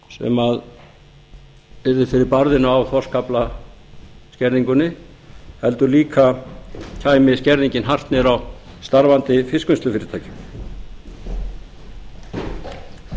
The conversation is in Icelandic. útgerðin sem yrði fyrir barðinu á þorskaflaskerðingunni heldur líka kæmi skerðingin hart niður á starfandi fiskvinnslufyrirtækjum